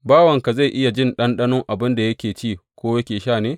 Bawanka zai iya jin ɗanɗano abin da yake ci, ko yake sha ne?